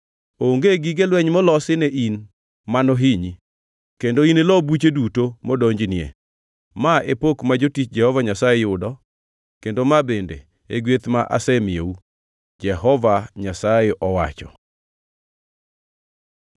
onge gige lweny molosi ne in mano hinyi, kendo inilo buche duto modonjnie. Ma e pok ma jotich Jehova Nyasaye yudo, kendo ma bende e gweth ma asemiyou,” Jehova Nyasaye owacho.